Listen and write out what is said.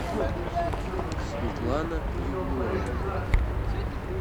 светлана егорова